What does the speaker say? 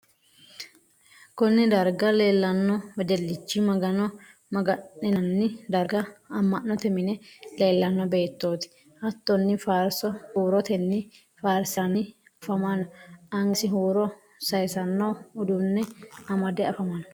kunne darga leellanno wedellichi magano maga'ninanni darga ama'note mine leellanno beettoti. hattonni faarso huurotenni faarisanni afamanno. angasi huuro sayisano uduunne amade afamanno.